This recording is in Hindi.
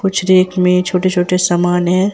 कुछ रैक में छोटे छोटे समान है।